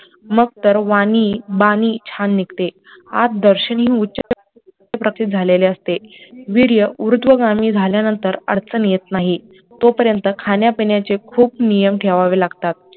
मग तर वाणी, बानी छान निघते आत दर्शनी झालेले असते वीर्य ऊर्ध्वगामी झाल्यानंतर अडचण येत नाही तो पर्यंत खाण्यापिण्याचे खूप नियम ठेवावे लागतात